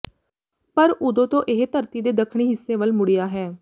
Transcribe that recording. ਪਰ ਉਦੋਂ ਤੋਂ ਇਹ ਧਰਤੀ ਦੇ ਦੱਖਣੀ ਹਿੱਸੇ ਵੱਲ ਮੁੜਿਆ ਹੈ